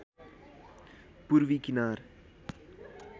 पूर्वी किनार